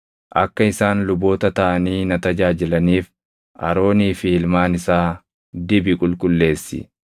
“Akka isaan luboota taʼanii na tajaajilaniif Aroonii fi ilmaan isaa dibi qulqulleessi.